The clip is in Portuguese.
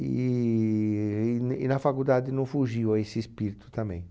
E e n e na faculdade não fugiu a esse espírito também.